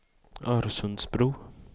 Örsundsbro